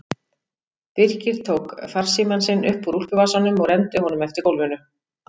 Birkir tók farsímann sinn upp úr úlpuvasanum og renndi honum eftir gólfinu.